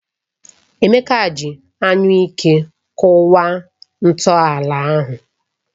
Emeka ji anyụike kụwa ntọala ahụ.